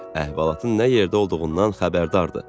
Əhvalatın nə yerdə olduğundan xəbərdar idi.